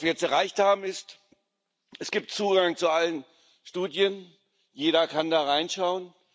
Was wir jetzt erreicht haben, ist Es gibt Zugang zu allen Studien, jeder kann da reinschauen.